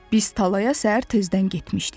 Biz tallaya səhər tezdən getmişdik.